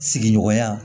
Sigiɲɔgɔnya